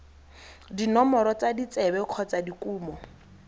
dinomoro tsa ditsebe kgotsa dikumo